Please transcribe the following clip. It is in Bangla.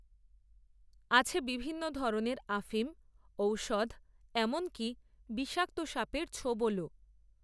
আছে বিভিন্ন ধরনের, আফিম, ঔষধ, এমনকী বিষাক্ত সাপের ছোবলও